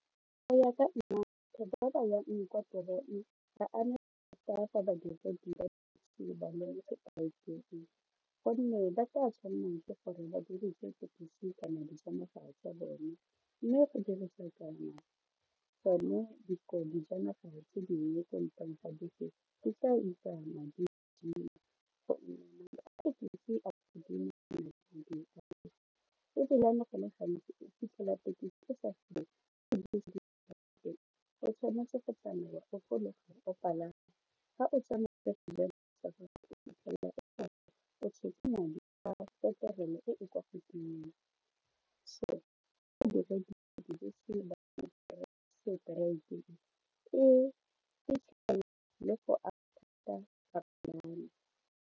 Go ya ka gonne ba tla tshwanela ke gore ba dirise tekisi kana dijanaga tsa bone mme go dirisa kana gone dijanaga tse dingwe ko ntleng ga bese go le gantsi o fitlhela tekisi madi a petrol e e kwa godimo bapalami.